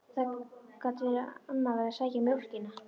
Það gat verið að amma væri að sækja mjólkina.